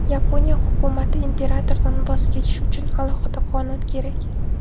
Yaponiya hukumati: Imperatordan voz kechish uchun alohida qonun kerak.